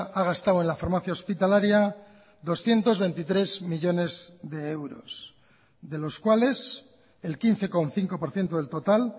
ha gastado en la farmacia hospitalaria doscientos veintitrés millónes de euros de los cuales el quince coma cinco por ciento del total